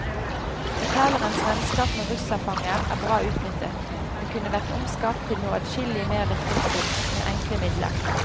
Fortellerens vennskap med russerfanger er bra utnyttet, men kunne vært omskapt til noe adskillig mer virkningsfullt, med enkle midler.